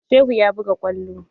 Shehu ya buga kwallo.